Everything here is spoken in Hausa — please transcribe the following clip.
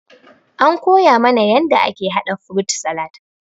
An koya mana yanda ake haɗa frut salat.